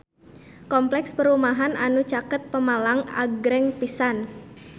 Kompleks perumahan anu caket Pemalang agreng pisan